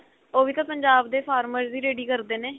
ਉਹ ਵੀ ਤਾਂ ਪੰਜਾਬ ਦੇ farmers ਹੀ ready ਕਰਦੇ ਨੇ